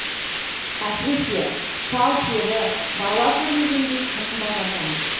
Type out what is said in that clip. әсіресе сал сері бала көрмегендей тым балажан